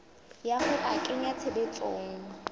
ya ho a kenya tshebetsong